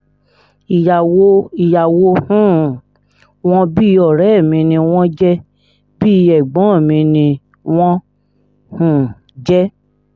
ìyàwó um wọn bíi ọ̀rẹ́ mi ni wọ́n jẹ́ bíi ẹ̀gbọ́n mi ni wọ́n um jẹ́